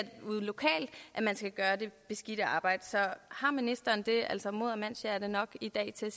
ude lokalt man skal gøre det beskidte arbejde så har ministeren det altså mod og mandshjerte nok i dag til at